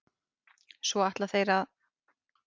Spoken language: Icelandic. Svo ætla þeir að?